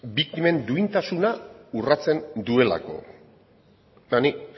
biktimen duintasuna urratzen duelako eta nik